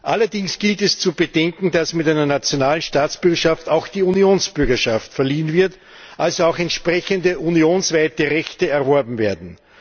Allerdings gilt es zu bedenken, dass mit einer nationalen Staatsbürgerschaft auch die Unionsbürgerschaft verliehen wird, also auch entsprechende unionsweite Rechte erworben werden.